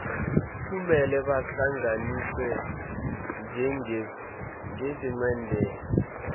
kumele bahlanganiswe njengencenye